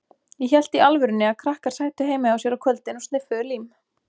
Ég hélt í alvörunni að krakkar sætu heima hjá sér á kvöldin og sniffuðu lím.